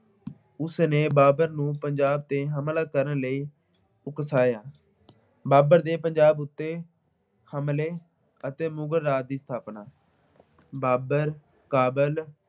ਉਸਨੇ ਬਾਬਰ ਨੂੰ ਪੰਜਾਬ ਤੇ ਹਮਲਾ ਕਰਨ ਲਈ ਉਕਸਾਇਆ। ਬਾਬਰ ਦੇ ਪੰਜਾਬ ਉੱਤੇ ਹਮਲੇ ਅਤੇ ਮੁਗਲ ਰਾਜ ਦੀ ਸਥਾਪਨਾ। ਬਾਬਰ ਕਾਬਲ